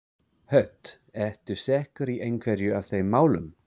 Hödd: Ertu sekur í einhverju af þeim málum?